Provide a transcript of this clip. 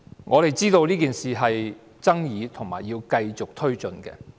我們知道這件事具爭議性，並須繼續推進。